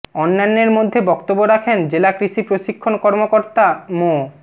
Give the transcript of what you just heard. অন্যান্যের মধ্যে বক্তব্য রাখেন জেলা কৃষি প্রশিক্ষণ কর্মকর্তা মো